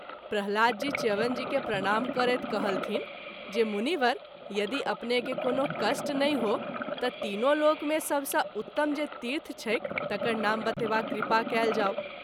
प्रह्लाद जी च्यवन जी के प्रणाम करैत कहलथिन्ह जे मुनिवर यदि अपने के कोनो कष्ट नहिँ हो त’ तीनो लोक मे सभ स’ उतम जे तीर्थ छैक तकर नाम बतेबाक कृपा कएल जाओ।